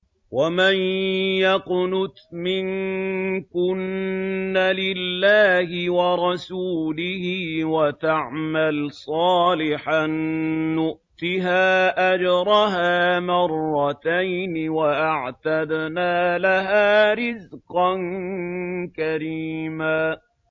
۞ وَمَن يَقْنُتْ مِنكُنَّ لِلَّهِ وَرَسُولِهِ وَتَعْمَلْ صَالِحًا نُّؤْتِهَا أَجْرَهَا مَرَّتَيْنِ وَأَعْتَدْنَا لَهَا رِزْقًا كَرِيمًا